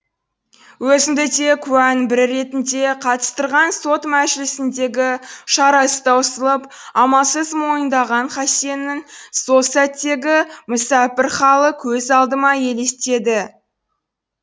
өзімді де куәнің бірі ретінде қатыстырған сот мәжілісіндегі шарасы таусылып амалсыз мойындаған хасеннің сол сәттегі мүсәпір халі көз алдыма елестеді